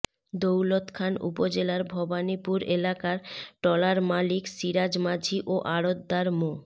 দৌলতখান উপজেলার ভবানীপুর এলাকার ট্রলার মালিক সিরাজ মাঝি ও আড়ৎদার মো